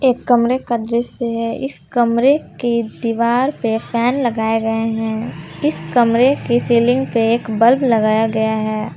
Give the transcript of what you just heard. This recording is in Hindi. एक कमरे का दृश्य है इस कमरे की दीवार पे फैन लगाए गए हैं इस कमरे की सीलिंग पे एक बल्ब लगाया गया है।